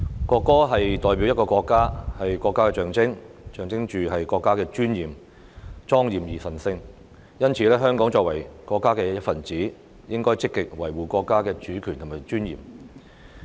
國歌代表國家，是國家的象徵，象徵國家的尊嚴，莊嚴而神聖，香港作為國家的一分子，應該積極維護國家的主權和尊嚴。